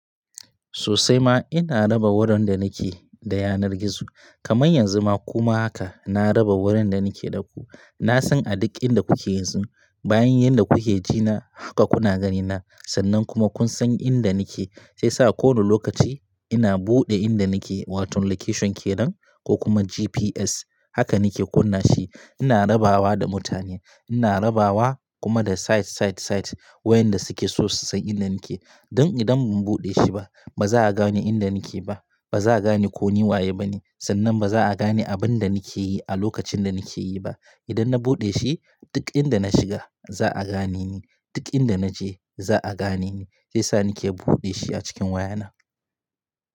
Sosai ma ina raba wurin da nake da yanar gizo. Kaman yanzu ma kuma haka na raba wurin da nake da ku. Na san a duk inda kuke yanzu. Bayan yadda kuke ji na haka kuna ganina sannan kuma kun san inda nake shiyasa kowane lokaci ina buɗe inda nake wato location kenan ko kuma GPS haka nake kunna shi. Ina rabawa da mutane ina rabawa kuma da site, site, site wayanda suke so su san inda nake. Don idan ban buɗe shi ba ba za'a gane inda nake ba. Ba za'a gane ko ni waye bane sannan ba za'a gane abin da nake yi a lokacin da nake yi ba. Idan na buɗe shi duk inda na shiga za'a gane ni. Duk inda naje za'a gane ni shiyasa nake buɗe shi a cikin wayana.